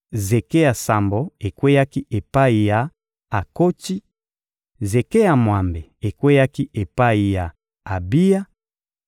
zeke ya sambo ekweyaki epai ya Akotsi; zeke ya mwambe ekweyaki epai ya Abiya;